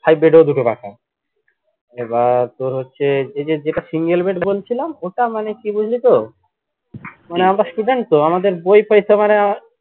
five bed এ ও দুটো পাখা এবার তোর হচ্ছে এই যে যেটা single bed বলছিলাম ওটা মানে কি বুঝলি তো মানে আমরা student তো আমাদের বই